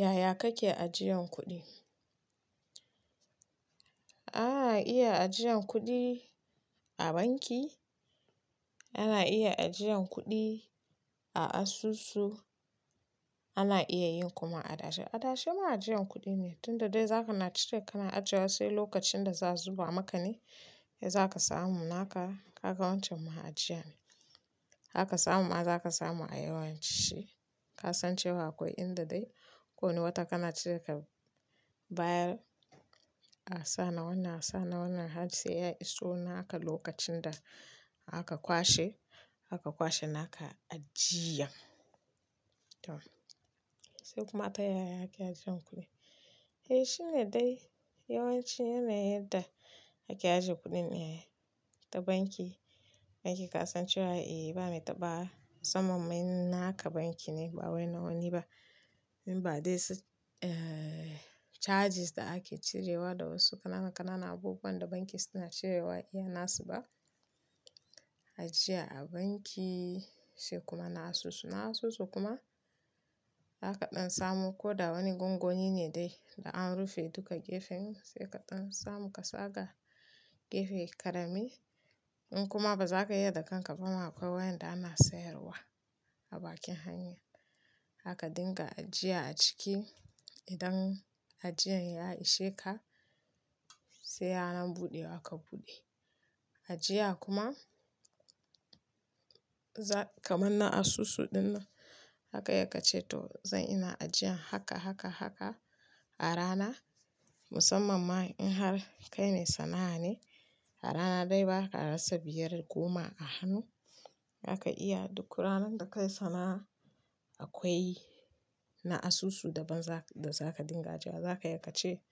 Yaya kake ajiyan kuɗi? Ana iya ajiyan kuɗi a banki, ana iya ajiyan kuɗi a asusu, ana iya yin kuma adashe. Adashe ma ajiyan kuɗi ne, tunda dai zakana cire kana ajiyewa sai lokacin da za'a zuba maka ne za ka samu. Naka kaga wancan ma ajiya ne. Zaka samu ma za ka samu a yawanci. Ka san cewa akwai inda dai kowane wata kana cire ka bayar a sa na wannan a sa na wannan har sai yayi iso naka lokacin da aka kwashe, aka kwashe naka ajiyan. To, se kuma tayaya ake ajiyan kudi, eh shine dai yawanci yanayin yadda ake ajiyan kudin aa, ta banki banki ka san cewa eh ba ma itaɓawa musamman naka banki ne ba wani na wani ba. In ba dai su eh charges da ake cirewa da wasu ƙananan ƙananan abubuwan da banki suna cirewa irin nasu ba. Ajiya a banki sai kuma na asusu. Na asusu kuma zaka ɗan samo ko da wani gungoni ne dai da an rufe duka gefen sai kaɗan samu ka saka gefe karami. In kuma bazaka iya da kanka ba ma akwai wayanda ana sayarwa a bakin hanya. Haka dinga ajiya a ciki. Idan ajiyan ya ishe ka sai ranan buɗewa ka buɗe. Ajiya kuma, kaman na asusu dinnan zaka iya kace to zan ina ajiyan haka-haka-haka a rana musamman ma idan har kai mai sana'a ne. A rana dai baka rasa biyar goma a hannu. Zaka iya duk ranar da ka yi sana'a akwai na asusu daban da za ka dinga ajiya. Zaka iya kace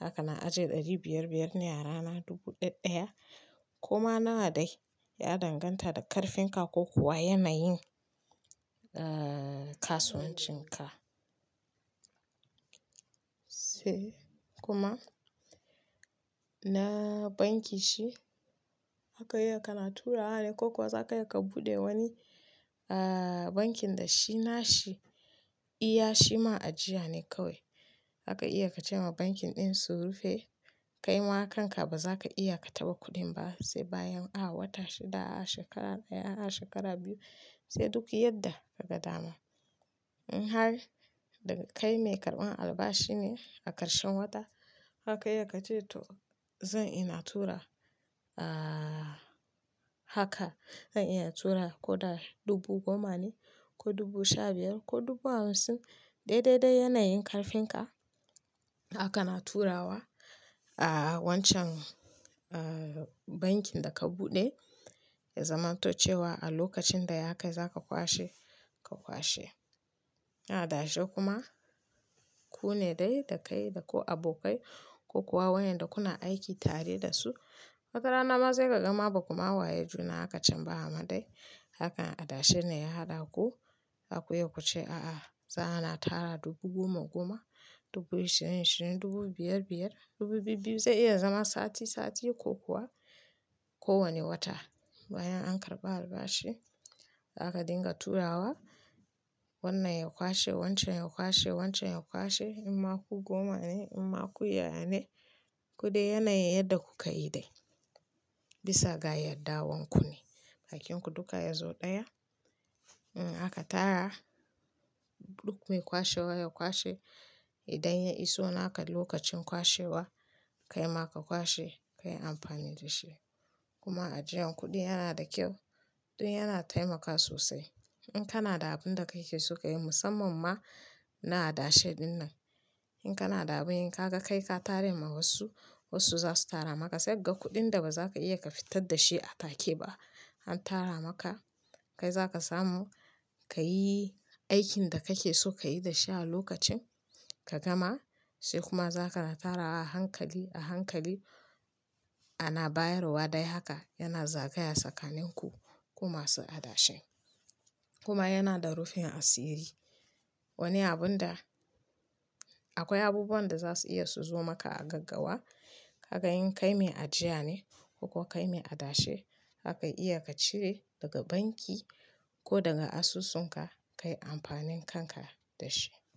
haka na ajiye ɗari biyar biyar ne a rana, dubu ɗaya ɗaya koma nawa dai. Ya danganta da ƙarfin ka ko kuwa yanayin eh kasuwancin ka. Sai kuma na banki shi zaka iyaka na turawa ne ko kuwa za ka iya ka buɗe wani ah bankin da shi nashi iya shi ma ajiya ne kawai. Zaka iya ka ce ma bankin ɗin su rufe kai ma kanka bazaka iya ka taba kuɗin ba sai bayan a wata shida, a shekara ɗaya, a shekara biyu sai duk yadda ka ga dama. In har daga kai mai karɓan albashi ne a ƙarshen wata zaka iyaka ce to zan ina tura ah haka zan iya tura ko da dubu goma ne ko dubu sha biyar ko dubu hamsin dai, dai, dai yanayin ƙarfin ka. Zaka na turawa a wancan eh bankin da ka buɗe ya zaman to cewa a lokacin da ya kai zaka kwashe ka kwashe. Adashe kuma ku ne dai da kai da ko abokai ko kuwa wayanda kuna aiki tare da su. Masara nama sai ka gama ba kuma waye juna haka camba amma dai hakan adashe ne ya haɗa ku. Zaku iya ku ce a'a za ana tara dubu goma goma, dubu ishirin ishirin, dubu biyar biyar, dubu biyu biyu zai iya zama sati sati ko kuwa ko wane wata bayan an karɓi albashi. Zaka dinga turawa wannan ya kwashe, wancan ya kwashe, wancan ya kwashe in ma ku goma ne in ma ku ya-ya ne kudai yanayin yadda ku ka yi dai. Bisa ga yadda wanku ne bakinku duka yazo ɗaya. In aka tara duk mai kwashewa ya kwashe. Idan ya iso naka lokacin kwashewa kai ma ka kwashe kayi amfani da shi. Kuma ajiyan kuɗi yana da kyau. Don yana taimakawa sosai in kana da abin da kake so ka yi musamman ma na adashe dinnan. In kana da abin yi kaga ka kai ka tara ma wasu, wasu za su tara maka sai ga kuɗin da bazaka iya ka fitar da shi a take ba an tara maka. Kai zakasamu ka yi aikin da kake so kayi da shi a lokacin ka gama sai kuma zakana tarawa a hankali a hankali ana bayarwa dai haka yana zagayawa tsakanin ku kuma su adashe. Kuma yana da rufin asiri. Wani abun da akwai abubuwan da za su iya su zo maka a gaggawa. Kaga in kai mai ajiyane ko kai mai adashi zaka iya ka cire data banki ko daga asusunka kayi amfanin kanka da shi.